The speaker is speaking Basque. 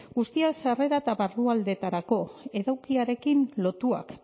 guztiak sarrera eta barrualdetarako edukiarekin lotuak